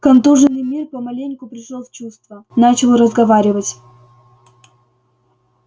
контуженный мир помаленьку пришёл в чувство начал разговаривать